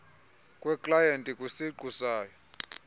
kweklayenti kwisiqu sayo